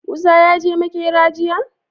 Musa yaje makera jiya?